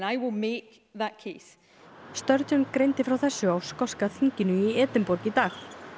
sturgeon greindi frá þessu á skoska þinginu í Edinborg í dag